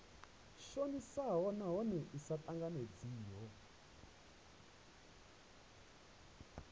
shonisaho nahone i sa tanganedzeiho